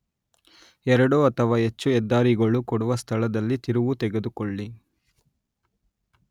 ಎರಡು ಅಥವಾ ಹೆಚ್ಚು ಹೆದ್ದಾರಿಗಳು ಕೂಡುವ ಸ್ಥಳದಲ್ಲಿ ತಿರುವು ತೆಗೆದುಕೊಳ್ಳಿ